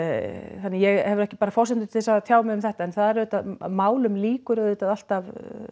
þannig að ég hef ekki bara forsendur til þess að tjá mig um þetta en það auðvitað málum lýkur auðvitað alltaf